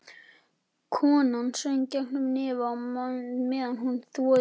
Konan söng gegnum nefið á meðan hún þvoði sér.